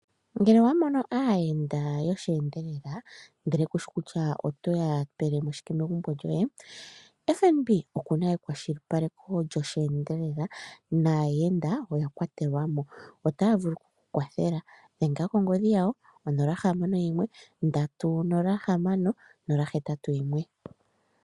Ngele owa mono aayenda yoshi endelela ndele kushi kutya otoya pelemo shike megumbo lyoye FNB okuna kwashilipaleko lyosheendelela naayenda oya kwatelwa otaya vulu okuya kwathela dhenga kongodhi yawo 061306081